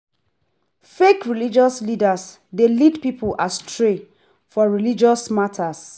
Fake religious leaders de lead pipo astray for religious matters